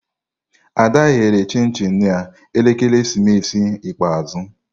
Ada ghere chim-chim na ekeresimesi ikpeazụ.